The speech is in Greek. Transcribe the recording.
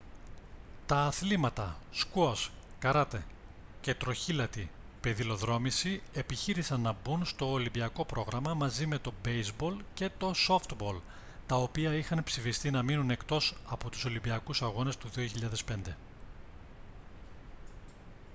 τα αθλήματα σκουός καράτε και τροχήλατη πεδιλοδρόμηση επιχείρησαν να μπουν στο ολυμπιακό πρόγραμμα μαζί με το μπέηζμπολ και το σόφτμπολ τα οποία είχαν ψηφιστεί να μείνουν εκτός από τους ολυμπιακούς αγώνες το 2005